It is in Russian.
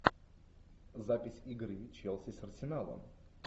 запись игры челси с арсеналом